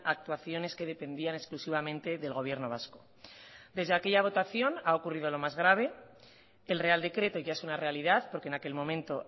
actuaciones que dependían exclusivamente del gobierno vasco desde aquella votación ha ocurrido lo más grave el real decreto ya es una realidad porque en aquel momento